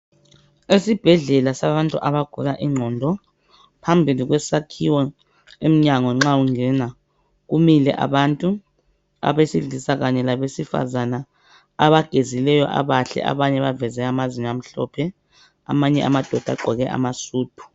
Esibhedlela sabantu abagula ingqondo, phambili kwesakhiwo emnyango nxa ungena, kumile abantu abesilisa kanye labesifazana abagezileyo abahle abanye baveze amazinyo amhlophe, amanye amadoda agqoke amasudu.